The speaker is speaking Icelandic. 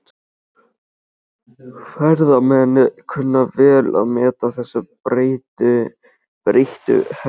Ferðamenn kunna vel að meta þessa breyttu hegðun.